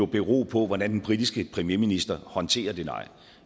bero på hvordan den britiske premierminister håndterer det nej